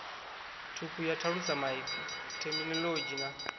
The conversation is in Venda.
thukhu ya thalusamaipfi theminolodzhi na